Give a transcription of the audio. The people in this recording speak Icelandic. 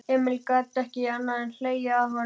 Emil gat ekki annað en hlegið að honum.